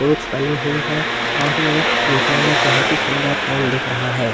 पुंछ बनी हुई है और यह देखने में बहोत ही सुंदर प्लेन दिख रहा है।